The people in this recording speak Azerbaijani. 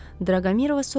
Draqomirova soruşdu.